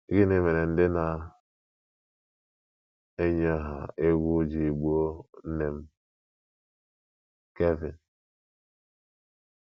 “ Gịnị mere ndị na - eyi ọha egwu ji gbuo nne m? ”— Kevin.